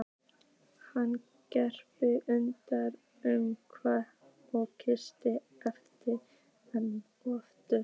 Hann greip utan um hana og kyssti hana enn aftur.